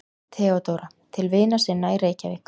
THEODÓRA: Til vina sinna í Reykjavík.